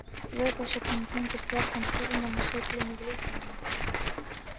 Vökvasöfnun tengist gjarnan hormónasveiflum í líkamanum